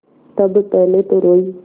तब पहले तो रोयी